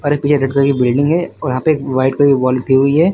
और एक ये रेड कलर की बिल्डिंग है और वहां पे एक वाइट कलर वॉल हुई है।